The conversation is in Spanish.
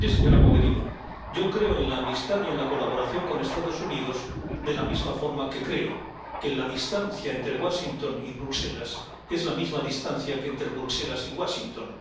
Mire, señora Mogherini, yo creo en la amistad y en la colaboración con los Estados Unidos, de la misma forma que creo que la distancia entre Washington y Bruselas es la misma distancia que entre Bruselas y Washington.